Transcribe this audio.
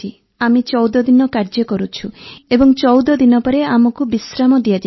ଆମେ ୧୪ ଦିନ କାର୍ଯ୍ୟ କରୁଛୁ ଏବଂ ୧୪ ଦିନ ପରେ ଆମକୁ ବିଶ୍ରାମ ଦିଆଯାଇଥାଏ